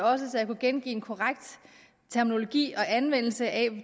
var også så jeg kunne gengive den korrekte terminologi i forbindelse anvendelsen af